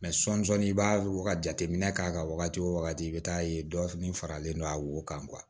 Mɛ sɔni i b'a jateminɛ k'a ka wagati o wagati i bɛ taa ye dɔ fana faralen don a wo kan